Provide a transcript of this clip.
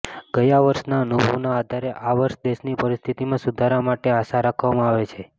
ગયા વર્ષના અનુભવના આધારે આ વર્ષે દેશની પરિસ્થિતિમાં સુધારા માટે આશા રાખવામાં આવે છે